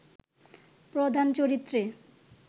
প্রধান চরিত্রে